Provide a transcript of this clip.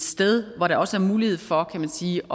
sted hvor der også er mulighed for kan man sige